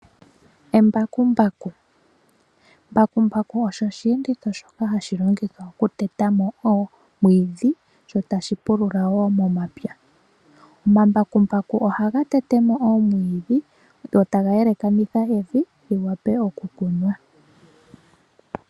Embakumbaku osho osheenditho hashi longithwa okuteta mo oomwiidhi sho tashi pulula momapya. Omambakumbaku ohaga tete mo oomwiidhi go taga yalakanitha evi li wape okukunwa.